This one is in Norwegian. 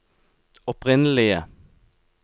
opprinnelige